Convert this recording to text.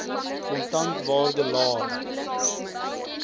kontan waarde laer